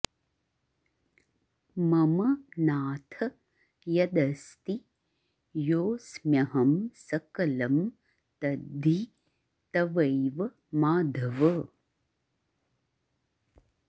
मम नाथ यदस्ति योऽस्म्यहं सकलं तद्धि तवैव माधव